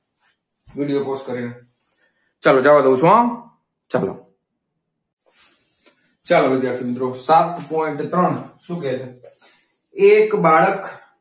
Video pause કરીને. ચાલો જવા દઉં છું હો. ચાલો, ચાલો વિદ્યાર્થી મિત્રો સાત પોઈન્ટ ત્રણ શું કે છે? એક બાળક,